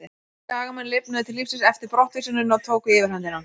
Skagamenn lifnuðu til lífsins eftir brottvísunina og tóku yfirhöndina.